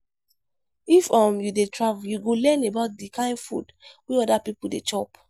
If um you dey travel, you go learn about di kain food wey oda pipo dey chop.